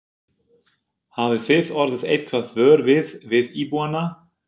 Hafið þið orðið eitthvað vör við, við íbúana?